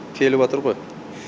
келіватыр ғой